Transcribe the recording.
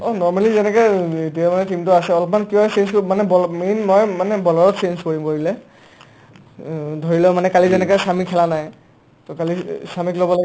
অ, normally যেনেকে এতিয়া মানে team টো আছে অলপমান কিবা chance কৰিম মানে বল main মই মানে bowler ত chance কৰিম কৰিলে অ, ধৰিল' মানে কালি যেনেকে ছামী খেলা নাই to অ ছামীক ল'ব লাগে